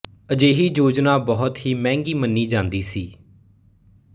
ਅਜਿਹੀ ਯੋਜਨਾ ਬਹੁਤ ਹੀ ਮਹਿੰਗੀ ਮੰਨੀ ਜਾਂਦੀ ਸੀ